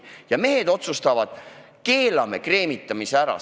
Ja mehed otsustavad: keelame kreemitamise ära.